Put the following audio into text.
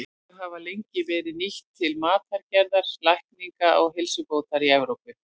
Þau hafa lengi verið nýtt til matargerðar, lækninga og heilsubótar í Evrópu.